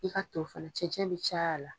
I ka to fɛnɛ cɛncɛn bi caya la